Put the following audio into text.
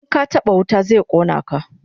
In ka taba wuta zai kona ka